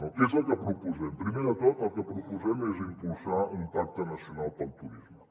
què és el que proposem primer de tot el que proposem és impulsar un pacte nacional pel turisme